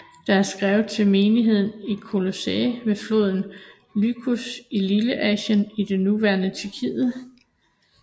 Det er skrevet til menigheden i Kolossæ ved floden Lykus i Lilleasien i det nuværende Tyrkiet